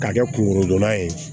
K'a kɛ kungolo dɔnna ye